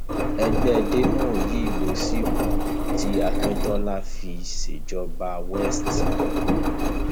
ẹgbẹ demo yìí ló sì kù tí akintola fi ń ṣèjọba west